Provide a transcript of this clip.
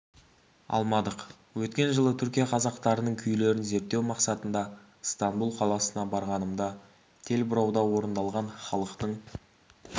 алмадық өткен жылы түркия қазақтарының күйлерін зерттеу мақсатында ыстанбұл қаласына барғанымда тел бұрауда орындалған халықтың